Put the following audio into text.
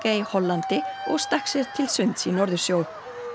í Hollandi og stakk sér til sunds í Norðursjó